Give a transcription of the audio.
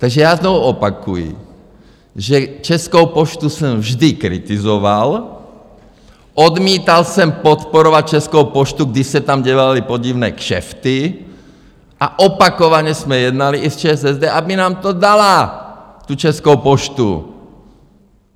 Takže já znovu opakuji, že Českou poštu jsem vždy kritizoval, odmítal jsem podporovat Českou poštu, když se tam dělaly podivné kšefty, a opakovaně jsme jednali i s ČSSD, aby nám to dala, tu Českou poštu.